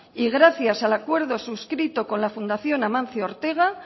y gracias al acuerdo suscrito con la fundación amancio ortega